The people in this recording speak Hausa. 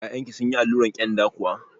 Ya'yan ki sunyi alluran kyanda kuwa?